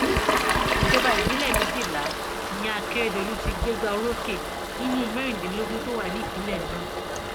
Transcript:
ìjọba ìbílẹ méjìlá ni akérèdọlù ti gbégbá orókè nínú mẹrìndínlógún tó wà nípìnlẹ náà